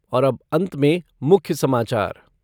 और अब अंत में मुख्य समाचार ..